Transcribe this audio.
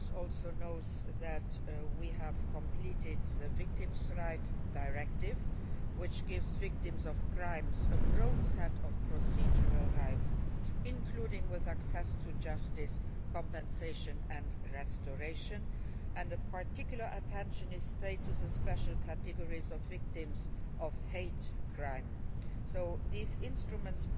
This House also knows that we have completed the Victims' Rights Directive, which gives victims of crime a broad set of procedural rights, including access to justice, compensation and restoration. Particular attention is paid to the special categories of victims of hate crime. So these instruments